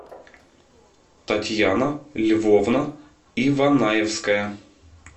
татьяна львовна иванаевская